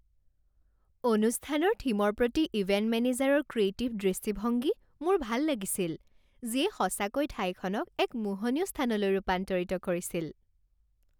অনুষ্ঠানৰ থিমৰ প্ৰতি ইভেণ্ট মেনেজাৰৰ ক্ৰিয়েটিভ দৃষ্টিভংগী মোৰ ভাল লাগিছিল, যিয়ে সঁচাকৈ ঠাইখনক এক মোহনীয় স্থানলৈ ৰূপান্তৰিত কৰিছিল।